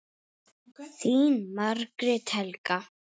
Þín Margrét Helga.